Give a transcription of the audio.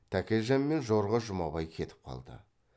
тәкежан мен жорға жұмабай кетіп қалды